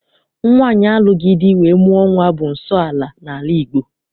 Nwaanyị alụghị di wee mụọ nwa bụ nsọala n'ala Igbo.